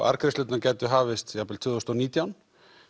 arðgreiðslurnar gætu hafist jafn vel tvö þúsund og nítján